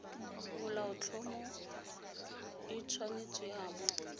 molaotlhomo e tshwanetse ya bo